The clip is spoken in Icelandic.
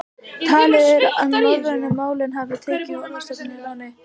Talið er að norrænu málin hafi tekið orðstofninn að láni úr fornensku.